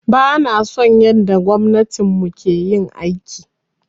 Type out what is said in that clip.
Bana son yanda gwamnatin mu ke yin aiki.